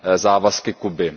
závazky Kuby.